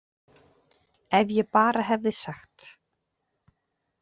Ef ég bara hefði sagt.